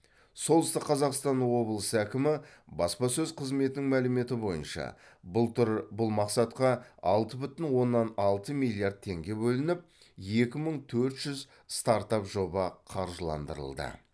солтүстік қазақстан облысы әкімі баспасөз қызметінің мәліметі бойынша былтыр бұл мақсатқа алты бүтін оннан алты миллиард теңге бөлініп екі мың төрт жүз стартап жоба қаржыландырылды